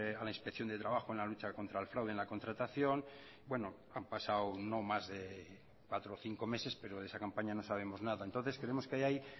a la inspección de trabajo en la lucha contra el fraude en la contratación bueno han pasado no más de cuatro o cinco meses pero de esa campaña no sabemos nada entonces creemos que ahí